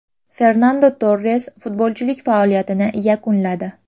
Fernando Torres futbolchilik faoliyatini yakunladi.